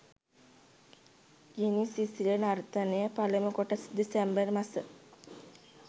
ගිනි සිසිල නර්තනය පළමු කොටස දෙසැම්බර් මස